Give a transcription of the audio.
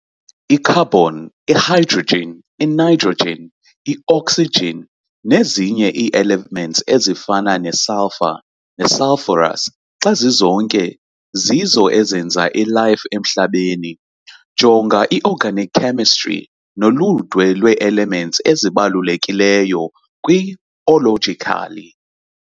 I-Carbon, i-hydrogen, i-nitrogen, i-oxygen, nezinye ii-elements ezifana ne-sulfur ne-sulphorus xa zizonke zizo ezenza i-life emhlabeni, jonga i-Organic chemistry noludwe lwee-elements ezibalulekileyo kwi-ologically.